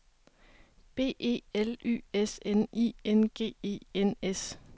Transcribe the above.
B E L Y S N I N G E N S